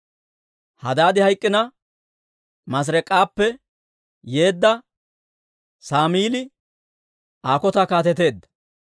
Hadaadi hayk'k'ina, Maasireek'appe yeedda Saamili Aa kotan kaateteedda.